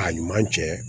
A ɲuman cɛ